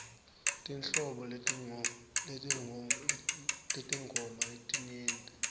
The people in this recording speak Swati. tinhlobo tetingoma tinyenti